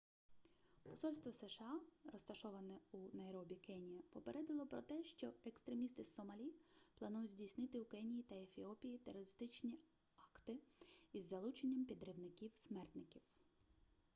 посольство сша розташоване у найробі кенія попередило про те що екстремісти з сомалі планують здійснити у кенії та ефіопії терористичні акти із залученням підривників-смертників